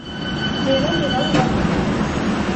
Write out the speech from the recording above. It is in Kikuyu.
Njĩra ndĩrauga ma.